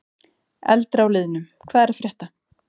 Eldra úr liðnum: Hvað er að frétta?